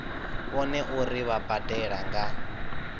vhone uri vha badela nga